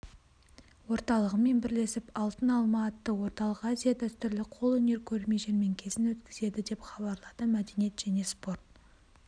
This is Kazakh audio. орталығымен бірлесіп алтын алма атты орталық-азиялық дәстүрлі қолөнер көрме-жәрмеңкесін өткізеді деп хабарлады мәдениет және спорт